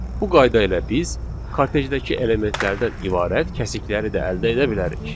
Bu qayda ilə biz kartejdəki elementlərdən ibarət kəsikləri də əldə edə bilərik.